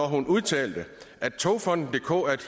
hun udtalte at togfonden dk er et